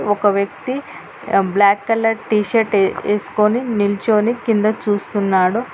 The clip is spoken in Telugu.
ఒక వ్యక్తి బ్లాక్ కలర్ టీషర్ట్ వేస్కొని నిల్చోని కింద చూస్తున్నాడు.